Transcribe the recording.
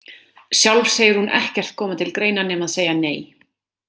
Sjálf segir hún ekkert koma til greina nema að segja nei.